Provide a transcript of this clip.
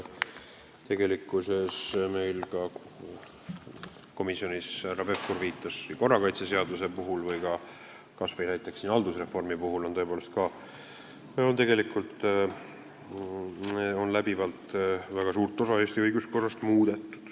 Tegelikkuses on – komisjonis härra Pevkur viitas sellele – korrakaitseseaduse või ka näiteks kas või haldusreformi puhul läbivalt muudetud väga suurt osa Eesti õiguskorrast.